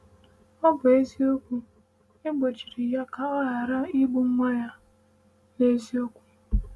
Ọ bụ eziokwu, e gbochiri ya ka ọ ghara igbu nwa ya n’eziokwu.